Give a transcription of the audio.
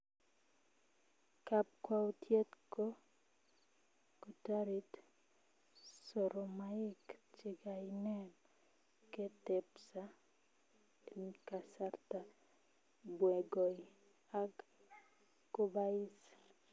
Kapkwautiet koo kotarit soromaik chegainem kutepsaa enkasarta bnegoi ak kobais